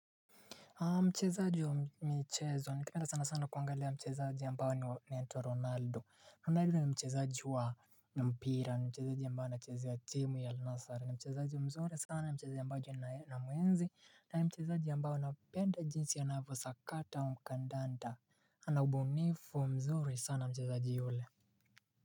Mchezaji wa michezo, ningependa sana sana kuangalia mchezaji ambaye anaitwa Ronaldo Ronaldo ni mchezaji wa mpira, ni mchezaji ambaye anachezea wa timu ya Alnasar, ni mchezaji mzuri sana ni mchezaji ambaye namuenzi na ni mchezaji ambaye napenda jinsi anavyo sakata kandanda, ana ubunifu mzuri sana mchezaji yule.